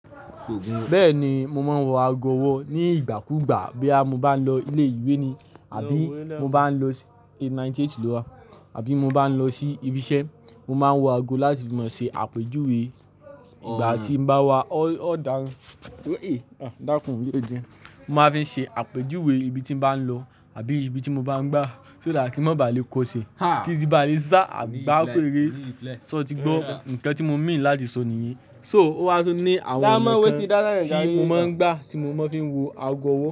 Bẹ́ẹ̀ni, mo máa ń wọ ago ọwọ́ ni ígbàkúgbà boya mo bá ń lọ ilé ìwé ni àbí mo bá ń lọ si A98 lowa, àbí mo bá ń lọ sí ibi iṣẹ́. Mo máa ń wọ ago láti fi máa ṣe àpèjúwe ìgbà tí n bá wá, ọ̀ ọ́ dàhun, e a dakun, dide dide mo máa fi n ṣe àpèjúwe ibi tí n bá ń lọ àbí ibi tí mo bá ń gbá. Só dà kí n má ba à lè kó ṣe kí sì bá lè sá àbí bá pèrere. So ti gbọ́, ǹkan tí mo mean láti sọ nìyí. So ó wá tún ní àwọn ọnà kan tí mo máa ń gbá tí mo máa ń fi wo ago ọwọ́